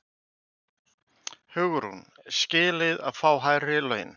Hugrún: Skilið að fá hærri laun?